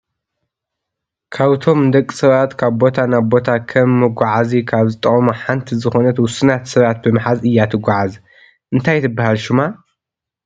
ካብቶም ንደቂ ሰባት ካብ ቦታ ናብ ቦታ ከም መጎዕዚ ካብ ዝጠቅሙ ሓንቲ ዝኾነት ውስናት ሰባት ብምሓዝ እያ ትጎዓዝ። እንታይ ትብሃል ሹማ?